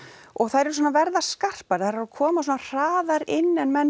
og þær eru svona að verða skarpari þær eru að koma svona hraðar inn en menn